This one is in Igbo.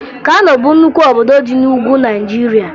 Kano bụ nnukwu obodo dị na Ugwu Naịjirịa